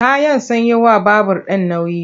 Kayan sun yi wa babur ɗin nauyi.